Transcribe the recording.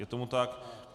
Je tomu tak?